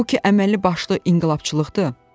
Bu ki əməllibaşlı inqilabçılıqdır.